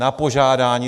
Na požádání.